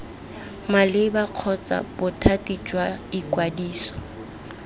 maleba kgotsa bothati jwa ikwadiso